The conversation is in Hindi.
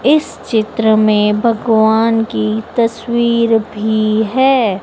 इस चित्र में भगवान की तस्वीर भी है।